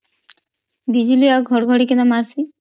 ବିଜଲୀ ଆଉ ଘଡଘଡି କେନ ମାରୁଚ